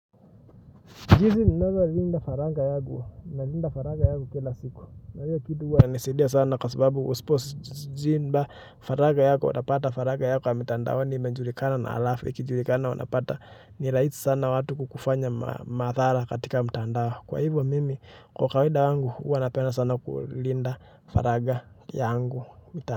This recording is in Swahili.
Jinsi ninavyolinda faraga yangu, ninalinda faraga yangu kila siku. Na hiyo kitu huwa ina nisaidia sana kwa sababu usipo ziba faraga yako una, utapata faraga yako ya mitandaoni ime julikana na alafu, ikijulikana unapata nirahisi sana watu kukufanya maathara katika mtandao. Kwa hivyo mimi, kwa kawida wangu, huwa napenda sana kulinda faraga yangu.